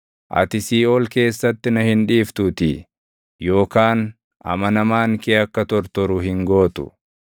ati siiʼool keessatti na hin dhiiftuutii, yookaan amanamaan kee akka tortoru hin gootu.